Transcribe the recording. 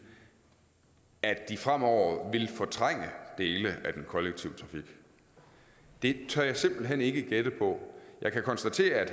at at de fremover vil fortrænge dele af den kollektive trafik det tør jeg simpelt hen ikke gætte på jeg kan konstatere at